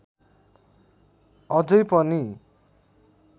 अझै पनि